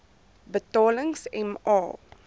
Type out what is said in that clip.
betalings m a